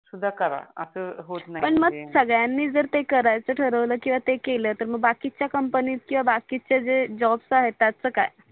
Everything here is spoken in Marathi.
संगड्याणी जर ते करायच ठरवल किवा ते केल तर मग बाकीच्या कंपनी किवा बाकीच्या जे जॉब्स आहे त्याच काय